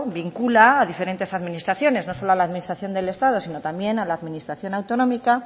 vincula a diferentes administraciones no solo a la administración del estado sino también a la administración autonómica